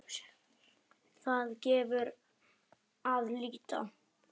Þar gefur að líta